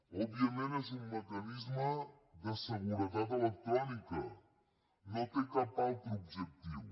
òbviament és un mecanisme de seguretat electrònica no té cap altre objectiu